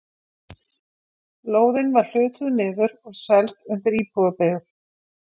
Lóðin var hlutuð niður og seld undir íbúðabyggð.